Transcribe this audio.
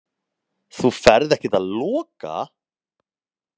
Þú ferð ekkert að loka!